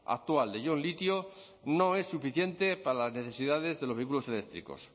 actual de ion litio no es suficiente para las necesidades de los vehículos eléctricos